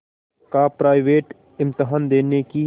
का प्राइवेट इम्तहान देने की